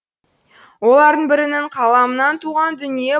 олардың бірінің қаламынан туған дүние